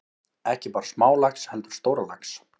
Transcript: Ekki bara smálax heldur stórlax.